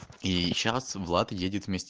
и сейчас влад едет вместе